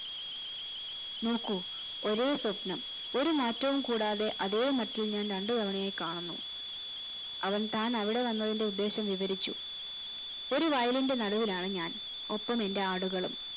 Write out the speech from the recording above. നോക്കു ഒരേ സ്വപ്നം ഒരു മാറ്റവും കൂടാതെ അതേ മട്ടിൽ ഞാൻ രണ്ടു തവണയായി കാണുന്നു അവൻ താൻ അവിടെ വന്നതി ന്റെ ഉദ്ദേശം വിവരിച്ചു ഒരു വയലിന്റെ നടുവിലാണ് ഞാൻ ഒപ്പം എന്റെ ആടുകളും